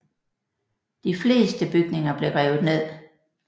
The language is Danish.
De fleste bygninger blev revet ned